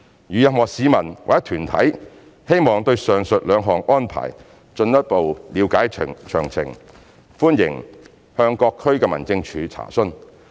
如任何市民或團體希望對上述兩項安排進一步了解詳情，歡迎向各區民政處查詢。